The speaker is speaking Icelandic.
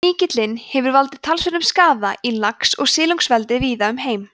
sníkillinn hefur valdið talsverðum skaða í lax og silungseldi víða um heim